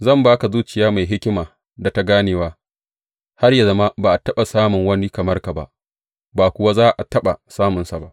Zan ba ka zuciya mai hikima da ta ganewa, har yă zama ba a taɓa samun wani kamar ka ba, ba kuwa za a taɓa samunsa ba.